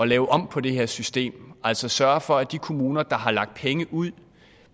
lave om på det her system altså sørge for at de kommuner der har lagt penge ud